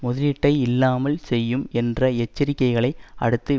முதலீட்டை இல்லாமல் செய்யும் என்ற எச்சரிக்கைகளை அடுத்து